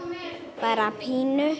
bara pínu